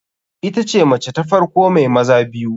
Itace mace ta farko mai maza biyu.